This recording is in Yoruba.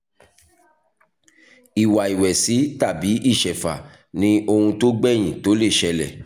ìwà ìwẹ̀sì tàbí ìṣẹ̀fà ni ohun tó gbèyìn tó lè ṣẹlẹ̀